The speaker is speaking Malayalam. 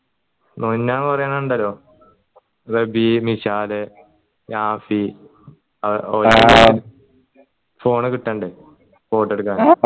കൊറെണ്ണം ഇണ്ടല്ലോ റബീഹ് മിഷാൽ നാഫി phone കിട്ടണ്ട് photo എടുക്കാൻ